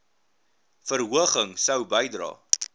verhoging sou bydra